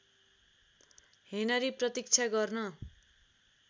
Henry प्रतीक्षा गर्न